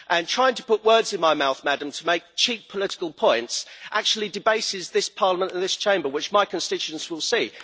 Trying to put words in my mouth, Madam, to make cheap political points actually debases this Parliament and this Chamber, which my constituents will see.